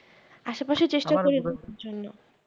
আশে পাশে চেষ্টা করি ঘুরবার জন্য